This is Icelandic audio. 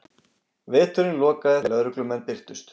Vertinn lokaði þegar lögreglumenn birtust